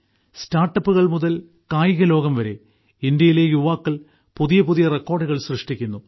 സ്റ്റാർട്ടപ്പുകൾ മുതൽ കായികലോകം വരെ ഇന്ത്യയിലെ യുവാക്കൾ പുതിയ പുതിയ റെക്കോർഡുകൾ സൃഷ്ടിക്കുന്നു